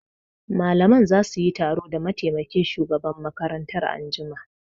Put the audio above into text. Malaman za su yi taro da mataimakin shugaban makaranta anjima